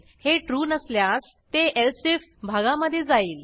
हे ट्रू नसल्यास ते एलसिफ भागा मधे जाईल